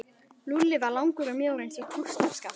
Lúlli var langur og mjór eins og kústskaft.